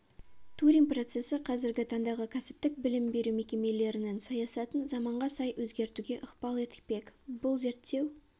турин процессі қазіргі таңдағы кәсіптік білім беру мекемелерінің саясатын заманға сай өзгертуге ықпал етпек бұл зерттеу